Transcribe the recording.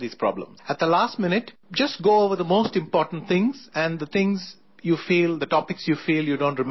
At the last minute, just go over the most important things and the things you feel, the topics you feel, you don't remember very well